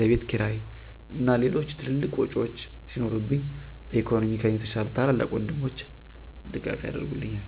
ለቤትክራይ እና ሌሎች ትልልቅ ዎጮች ሲኖሩብኝ በኢኮኖሚ ከኔ የተሻሉ ታላላቅ ወንድሞቸ ድጋፍ ያረጉልኛል።